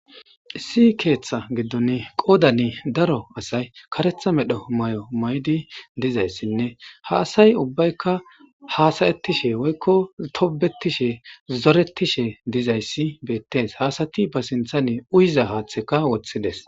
issi keeththa giddon qoodane daro asay karetha medho may7o may7di dizayssinne ha asay ubbaykka haasayettishe woykko tobetishe zoretishe dizayssi beettees haasati ba sinthane uyza haaththeka woththides